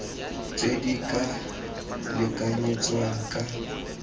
tse di ka lekanyetswang ka